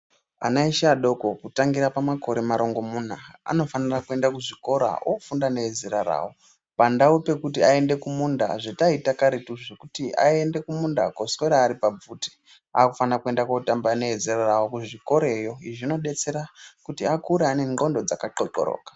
Ana eshe adoko kutangira pamakore marongomuna, anofanira kuenda kuchikora ofunda nezera rayo, pandau yekuti aende kumunda zvataita karetu zvokuti aiende kumunda koswera ari pabvute. Akufane kuende kootamba neezera rawo kuzvikorayo. Izvi zvinodetsera kuti vakure vaine ndhlondo dzaka thlokoloka.